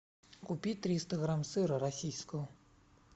купи триста грамм сыра российского